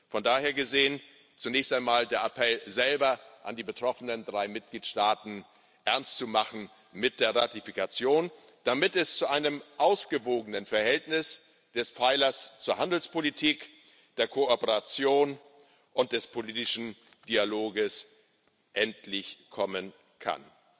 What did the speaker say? Von daher gesehen zunächst einmal der Appell selber an die betroffenen drei Mitgliedstaaten, Ernst zu machen mit der Ratifikation, damit es endlich zu einem ausgewogenen Verhältnis der Pfeiler zur Handelspolitik, zur Kooperation und zum politischen Dialog kommen kann.